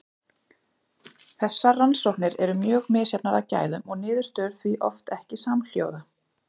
Þessar rannsóknir eru mjög misjafnar að gæðum og niðurstöður því oft ekki samhljóða.